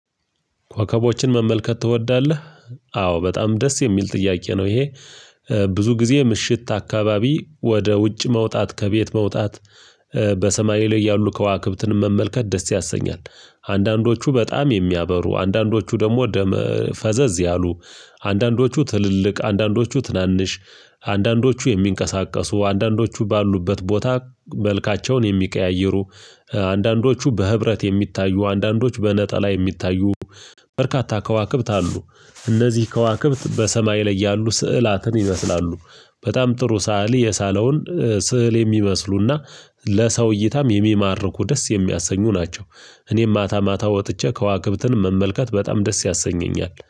ኮከቦችን መመልከት ትወዳለ? አዎ በጣም ደስ የሚል ጥያቄ ነው ይሄ ብዙ ጊዜ ምሽት አካባቢ ወደ ውጭ መውጣት ከቤት መውጣት በሰማይ ላይ ያሉ ከዋክብትን መመልከት ደስ ያሰኛል፤ አንዳንዶቹ በጣም የሚያበሩ አንዳንዶቹ ደግሞ ደም ፈዘዝ ያሉ አንዳንዶቹ ትልልቅ አንዳንዶቹ ትናንሽ አንዳንዶቹ የሚንቀሳቀሱ አንዳንዶቹ ባሉበት ቦታ መልካቸውን የሚቀያይሩ፣ አንዳንዶቹ በህብረት የሚታዩ አንዳንዶች በነጠላ የሚታዩ በርካታ ከዋክብት አሉ፤ እነዚህ ከዋክብት በሰማይ ላይ ያሉ ስዕላትን ይመስላሉ በጣም ጥሩ ሳሊ የሳለውን ስዕል የሚመስሉና ለሰው እይታም የሚማርኩ ደስ የሚያሰኙ ናቸው እኔም ማታ ማታ ወጥቼ ከዋክብትን መመልከት በጣም ደስ ያሰኘኛል፤